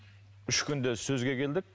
үш күнде сөзге келдік